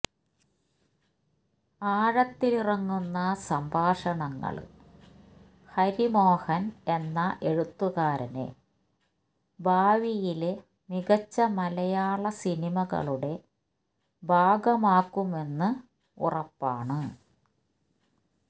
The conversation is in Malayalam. ആഴത്തിലിറങ്ങുന്ന സംഭാഷണങ്ങള് ഹരിമോഹന് എന്ന എഴുത്തുകാരനെ ഭാവിയിലെ മികച്ച മലയാള സിനിമകളുടെ ഭാഗമാക്കുമെന്ന് ഉറപ്പാണ്